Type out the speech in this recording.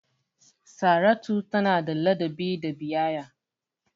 Saratu tana da ladabi da biyayya.